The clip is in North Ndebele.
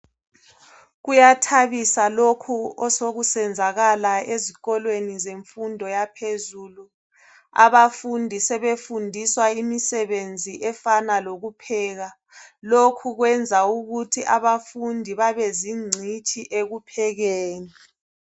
Kuyathabisa lokhu osokusenzakala ezikolweni zemfundo yaphezulu, abafundi sebefundiswa imisebenzi efana lokupheka lokhu kwenza ukuthi abafundi babezingcitshi ekuphekeni.